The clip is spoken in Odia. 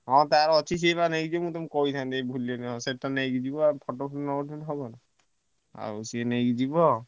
ହଁ ତାର ଅଛି ସିଏ ବ ନେଇକି ଯିବ କହିଥାନ୍ତି ଭୁଲିଗଲି ସେଇଟା ନେଇକି ଯିବ ଆଉ photo ମଟ ନା ଉଠେଇଲେ ହବ ଆଉସିଏ ନେଇକି ଯିବ।